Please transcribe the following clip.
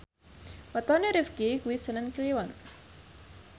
wetone Rifqi kuwi senen Kliwon